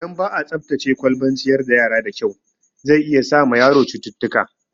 Idan ba'a tsaftace kwalban ciyar da yara da kyau, zai iya sa ma yaro cututtuka